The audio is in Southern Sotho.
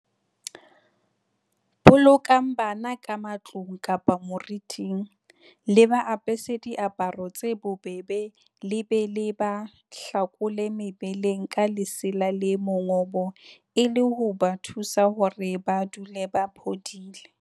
Bolokang bana ka matlung kapa moriting, le ba apese diaparo tse bobebe le be le ba hlakole mebeleng ka lesela le mongobo e le ho ba thusa hore ba dule ba phodile.